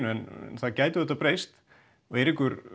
en það gæti vel breyst og Eiríkur